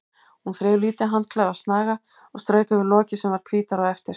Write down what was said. Hún þreif lítið handklæði af snaga og strauk yfir lokið sem varð hvítara á eftir.